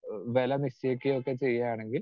speaker 2 വില നിശ്ചയിക്കുകയും ഒക്കെ ചെയ്യുകയാണെങ്കിൽ